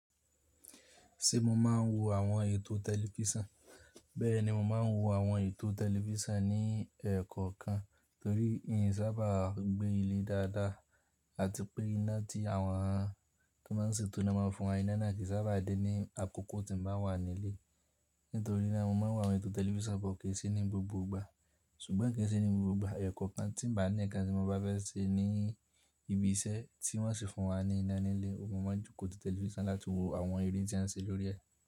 Ṣé mo ma ń wo àwọn ètò tẹlifísàn? Bẹ́ẹ̀ni, mo ma ń wo àwọn ètò tẹlifísàn ní ẹ̀kọ̀ kan torí ẹn sábà gbé ilé dáadáa àti pé iná tí àwọn tó máa ń ṣètò ináà máa fún wa iná kì í sábà dé ní àkókò tí mo bá wà nílé. Nítorí náà mo máa ń wo àwọn ètò tẹlifísàn bó ke se ní gbogbo ìgbà. Ṣùgbọ́n kí ń ṣe ní gbogbo ìgbà, ẹ̀kọ̀ kan tí n bá ní nkan tí mo bá fẹ́ ṣe ní ibi iṣẹ́ tí wọ́n sì fún wa ní iná nílé, oun mo máa n jókòón ti tẹlifísàn láti wo àwọn ere tí wọ́n ṣe lórí ẹ́.